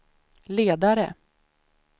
ledare